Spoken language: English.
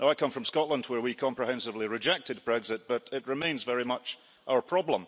I come from Scotland, where we comprehensively rejected Brexit, but it remains very much our problem.